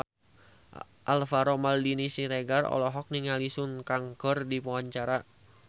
Alvaro Maldini Siregar olohok ningali Sun Kang keur diwawancara